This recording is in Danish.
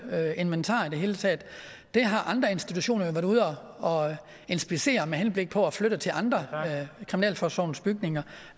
inventar i det hele taget har andre institutioner været ude og inspicere med henblik på at flytte det til andre af kriminalforsorgens bygninger